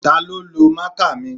Taló lo máàkà mi?